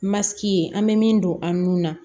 Masigi an bɛ min don an nun na